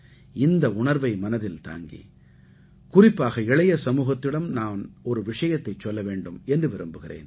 இந்த உணர்வை மனதில் தாங்கி குறிப்பாக இளைய சமூகத்திடம் நான் ஒரு விஷயத்தைச் சொல்ல வேண்டும் என்று விரும்புகிறேன்